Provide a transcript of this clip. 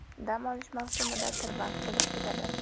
Dam olish mavsumida tirband bo‘lib ketadi.